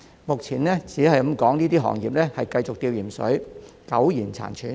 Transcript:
目前，這些行業可說是繼續在"吊鹽水"，苟延殘喘。